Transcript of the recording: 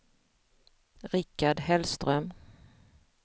Rikard Hellström